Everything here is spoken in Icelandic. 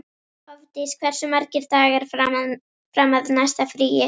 Hofdís, hversu margir dagar fram að næsta fríi?